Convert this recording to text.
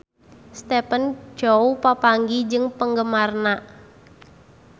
Stephen Chow papanggih jeung penggemarna